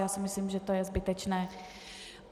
Já si myslím, že to je zbytečné.